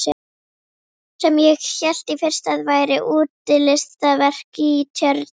Sem ég hélt í fyrstu að væri útilistaverk í tjörn.